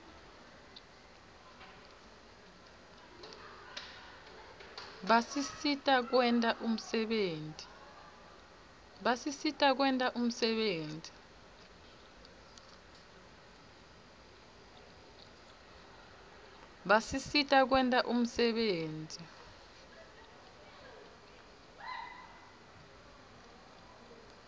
basisita kwenta umsebenti